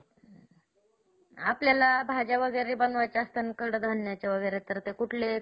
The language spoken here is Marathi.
आपल्याला भाज्यावगेरे बनवायच्या असताना कडधान्यच्या वगैरेंत तर ते कुठले?